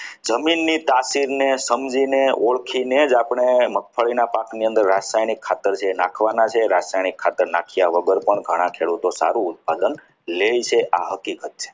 જમીનની તાસીરને સમજીને ઓળખીને જ આપણે મગફળીના પાકની અંદર રાસાયણિક ખાતર જે નાખવાના છે. રાસાયણિક ખાતર નાખ્યા વગર પણ ઘણા ખેડૂતો સારું ઉત્પાદન લે છે એ આ હકીકત છે.